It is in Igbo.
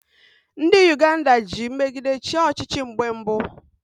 Ndị Uganda ji mmegide chịa ọchịchị mgbe mbụ